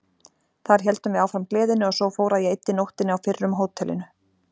Þar héldum við áfram gleðinni og svo fór að ég eyddi nóttinni á fyrrum hótelinu.